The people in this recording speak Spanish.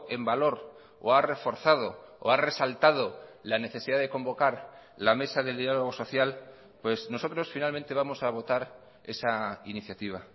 en valor o ha reforzado o ha resaltado la necesidad de convocar la mesa del diálogo social pues nosotros finalmente vamos a votar esa iniciativa